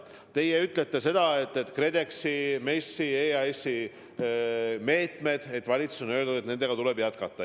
Te märkisite, et valitsus on öelnud, et KredExi, MES-i ja EAS-i meetmeid tuleb jätkata.